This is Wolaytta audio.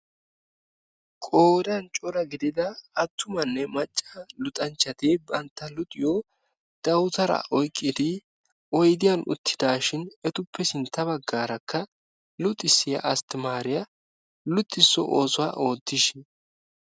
Qoodan cora gidida attumanne macca luxanchchati bantta luxiyo dawutaraa oyqqidi oydiyan uttidaashin, etuppe sintta baggaarakka luxissiya asttamaariya luxissiyo oosuwa oottishin.